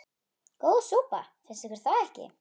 Góð súpa, finnst ykkur það ekki?